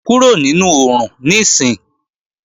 Kúrò nínú oòrùn níìsín!